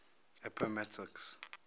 appomattox